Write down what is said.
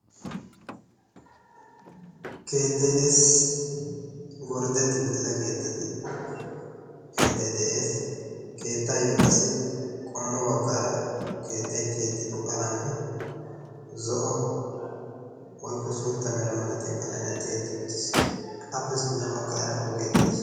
Keettay des. Gorddetti uttida keettati keettay des. Keettaayyoo qassi keettay tiyettido qalamee zo'o woyikko suutta Mera malatiya qalamiyan tiyettis uttiis. Appe sintta baggaara ogee de'es.